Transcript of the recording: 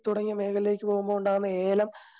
തുടങ്ങിയ മേഖലകളിലേക്ക് പോകുമ്പോ ഏലം